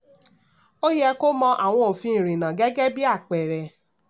ó yẹ kó mọ àwọn òfin ìrìnnà gẹ́gẹ́ bí apẹẹrẹ.